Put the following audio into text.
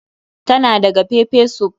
Tana daga pepper soup ɗin.